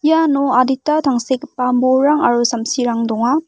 iano adita tangsekgipa bolrang aro samsirang donga.